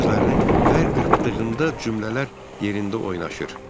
Gözlərini hər qırpdığında cümlələr yerində oynaşır.